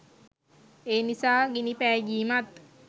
එනිසා ගිනි පෑගීමත්